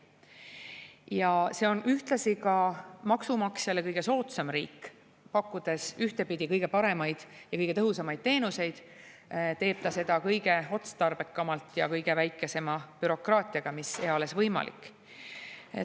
Ja see on ühtlasi ka maksumaksjale kõige soodsam riik: pakkudes ühtepidi kõige paremaid ja kõige tõhusamaid teenuseid, teeb ta seda kõige otstarbekamalt ja kõige väiksema bürokraatiaga, mis eales võimalik.